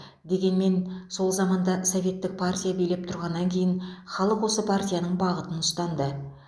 дегенмен сол заманда советтік партия билеп тұрғаннан кейін халық осы партияның бағытын ұстанды